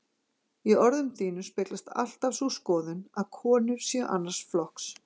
Í orðum þínum speglast alltaf sú skoðun, að konur séu annars flokks.